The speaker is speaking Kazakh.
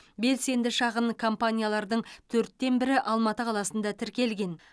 белсенді шағын компаниялардың төрттен бірі алматы қаласында тіркелген